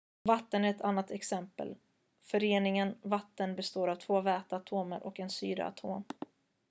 vatten är ett annat exempel föreningen vatten består av två väteatomer och en syreatom